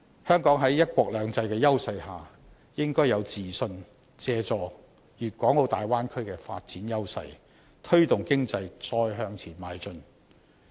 香港在"一國兩制"的優勢下，應該有自信，借助粵港澳大灣區的發展優勢，推動經濟再向前邁進。